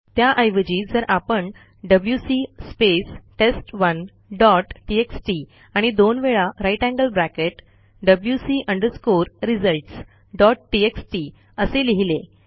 त्याऐवजी जर आपण डब्ल्यूसी स्पेस टेस्ट1 डॉट टीएक्सटी आणि दोन वेळा grater than साइन डब्ल्यूसी अंडरस्कोर रिझल्ट्स डॉट टीएक्सटी असे लिहिले